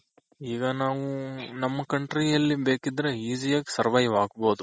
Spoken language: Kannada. ಈಗ ನಾವು ನಮ್ಮ country ಅಲ್ಲಿ ಬೇಕಿದ್ರೆ easy ಯಾಗಿ survive ಆಗ್ಬೋದು.